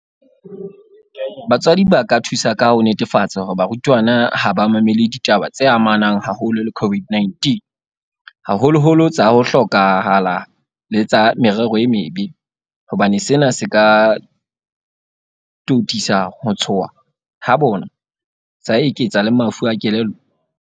Batswadi ba ka thusa ka ho netefatsa hore barutwana ha ba mamele ditaba tse amanang haholo le COVID-19, haholoholo tsa ho hloka hala le tsa merero e mebe, hobane sena se ka totisa ho tshoha ha bona sa eketsa le mafu a kelello.